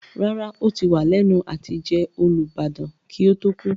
Rárá, ó ti wà lẹ́nu àtijẹ Olubadan kí ó tó kú.